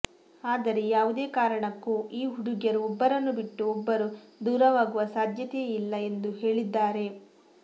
ಆದರೆ ಯಾವುದೇ ಕಾರಣಕ್ಕೂ ಈ ಹುಡುಗಿಯರು ಒಬ್ಬರನ್ನು ಬಿಟ್ಟು ಒಬ್ಬರು ದೂರವಾಗುವ ಸಾಧ್ಯತೆಯೇ ಇಲ್ಲ ಎಂದು ಹೇಳಿದ್ದಾರೆ